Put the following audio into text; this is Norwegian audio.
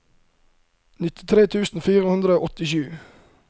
nittitre tusen fire hundre og åttisju